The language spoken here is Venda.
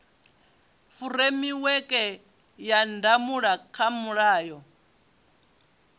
furemiweke ya ndangulo kha mulayo